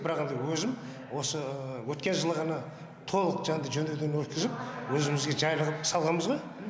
бірақ енді өзім осы өткен жылы ғана толық жанды жөндеуден өткізіп өзімізге жайлы ғып салғанбыз ғой